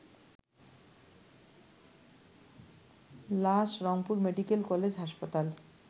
লাশ Rangpur medical college হাসপাতাল